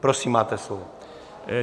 Prosím, máte slovo.